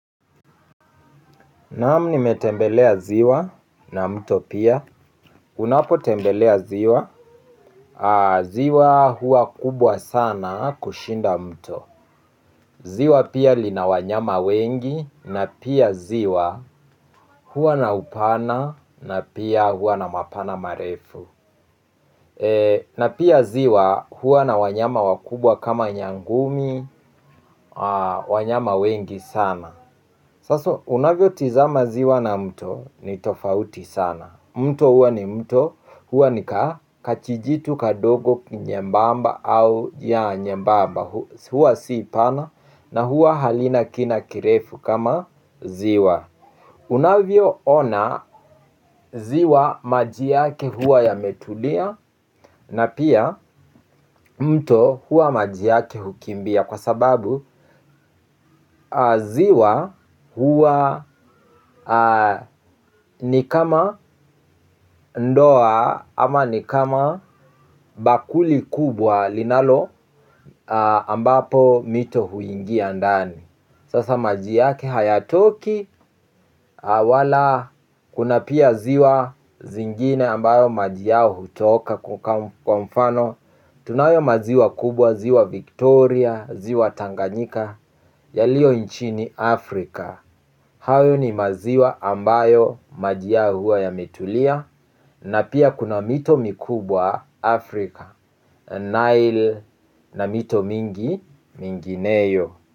Naam nimetembelea ziwa na mto pia, unapotembelea ziwa, ziwa huwa kubwa sana kushinda mto, ziwa pia lina wanyama wengi, na pia ziwa hua na upana, na pia hua na mapana marefu, na pia ziwa hua na wanyama wakubwa kama nyangumi, wanyama wengi sana. Haswa unavyo tizama ziwa na mto ni tofauti sana. Mto huwa ni mto huwa ni ka kajijitu kadogo ni nyembamba au yeah nyembamba huwa si pana na huwa halina kina kirefu kama ziwa. Unavyoona ziwa, maji yake huwa yametulia na pia mto huwa maji yake hukimbia kwa sababu ziwa huwa ni kama ndoo ama ni kama bakuli kubwa linalo ambapo mito huingia ndani. Sasa maji yake hayatoki wala kuna pia ziwa zingine ambayo maji yao hutoka kama kwa mfano tunayo maziwa kubwa ziwa Victoria ziwa Tanganyika yaliyo nchini Afrika. Hayo ni maziwa ambayo maji yao huwa yametulia na pia kuna mito mikubwa Afrika Nile na mito mingi mingineyo.